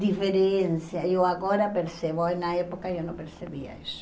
diferença, eu agora percebo, na época eu não percebia isso.